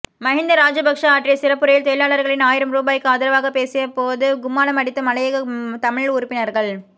மஹிந்த ராஜபக்ஷ ஆற்றிய சிறப்புரையில் தொழிலாளர்களின் ஆயிரம் ரூபாய்க்கு ஆதரவாக பேசிய போது கும்மாலம் அடித்த மலையக தமிழ் உறுப்பினர்கள்